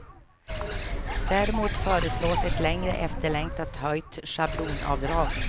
Däremot föreslås ett länge efterlängtat höjt schablonavdrag.